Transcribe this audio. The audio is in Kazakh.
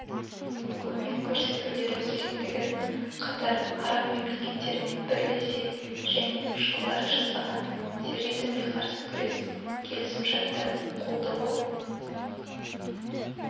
көмек көрсетулері керектігін қатар араб мемлекеттерімен бірлесе және жылдары жасаған терризмге қарсы күрес келісімшарттарын қолдауы